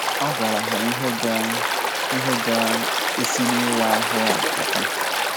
A gwaraha ihe ga - ihe ga - esi n’ịwa ahụ a pụta.